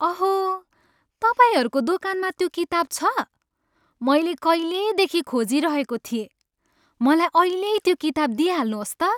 अहो! तपाईँहरूको दोकानमा त्यो किताब छ? मैले कहिलेदेखि खोजिरहेको थिएँ। मलाई अहिल्यै त्यो किताब दिइहाल्नुहोस् त!